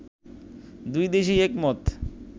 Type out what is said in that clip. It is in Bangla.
দুই দেশই একমত